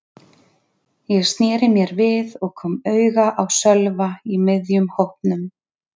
Ég sneri mér við og kom auga á Sölva í miðjum hópnum.